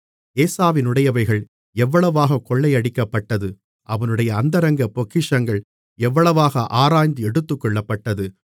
ஏசாவினுடையவைகள் எவ்வளவாகத் கொள்ளையடிக்கப்பட்டது அவனுடைய அந்தரங்கப் பொக்கிஷங்கள் எவ்வளவாக ஆராய்ந்து எடுத்துக்கொள்ளப்பட்டது